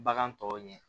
Bagan tɔw ɲɛ